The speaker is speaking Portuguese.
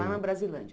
Lá na Brasilândia.